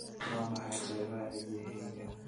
Waa maxay qaybaha cidiyahayaga?